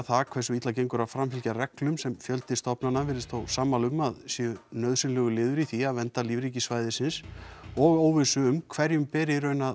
það hversu illa gengur að framfylgja reglum sem fjöldi stofnana virðist þó sammála um að séu nauðsynlegur liður í því að vernda lífríki svæðisins og óvissu um hverjum ber í raun að